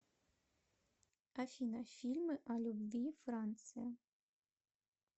афина фильмы о любви франция